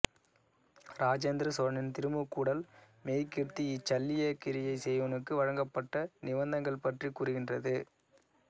இராஜேந்திர சோழனின் திருமுக்கூடல் மெய்க்கீர்த்தி இச் சல்லியக்கிரியை செய்வோனுக்கு வழங்கப்பட்ட நிவந்தங்கள் பற்றிக் கூறுகின்றது